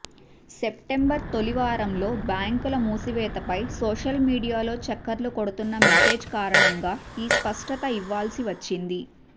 September తొలివారంలో బ్యాంకుల మూసివేతపై సోషల్ మీడియాలో చక్కర్లు కొడుతున్న మెసేజ్ కారణంగా ఈ స్పష్టత ఇవ్వాల్సి వచ్చింది